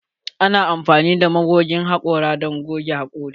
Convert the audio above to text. Ana amfani da magogin haƙora don goge hakori.